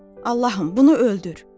Allahım, bunu öldür.